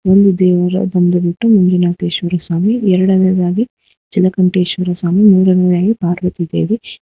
ಒಂದು ದೇವಾಲಯ ಬಂದುಬಿಟ್ಟು ಮಂಜುನಾಥಶ್ವರ ಸ್ವಾಮಿ ಎರಡನೆಯದಾಗಿ ಜಲಕಂಟೇಶ್ವರ ಸ್ವಾಮಿ ಮೂರನೇಯಾಗಿ ಪಾರ್ವತಿ ದೇವಿ--